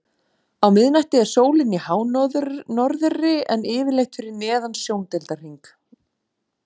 Á miðnætti er sólin í hánorðri en yfirleitt fyrir neðan sjóndeildarhring.